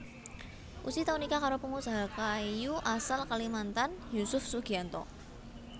Ussy tau nikah karo pangusaha kayu asal Kalimantan Yusuf Sugianto